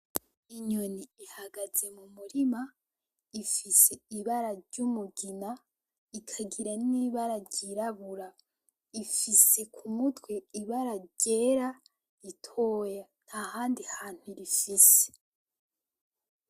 Inyoni ihagaze mu murima, ifise ibara ry'umugina ikagira n'ibara ryirabura, ifise ku mutwe ibara ryera ritoya, ntahandi hantu irifise.